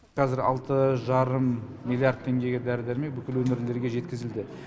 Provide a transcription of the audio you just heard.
қазір алты жарым миллиард теңгеге дәрі дәрмегі бүкіл өңірлерге жеткізілді